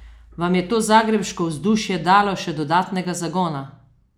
Vam je to zagrebško vzdušje dalo še dodatnega zagona?